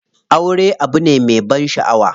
Aure abu ne me ban shaʼawa.